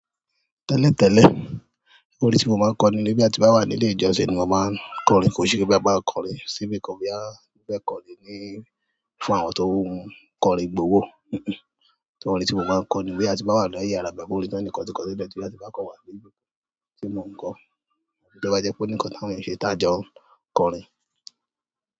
Tẹ́lẹ̀ tẹ́lẹ̀, orin tí mo máa ń kọ nígbà tí mo bá wà nílé ìjọsìn ni mo máa ń kọrin. Kò sí pé bá máa kọrin síbí, kò rí bí a fẹ́ kọrin ní fún àwọn tó ń kọrin gbówó. Rárá. To orin tí mo máa ń kọrin níbí tí a bá wà nílé àyáàrá, gbogbo orin náà ni nǹkan tí kọrin níbẹ̀ tí a bá kọ wá níbí tí mo ń kọ. Tó bá jẹ́ pé ó ní nǹkan tí àwọn èyàn ṣe tá jọ ń kọrin.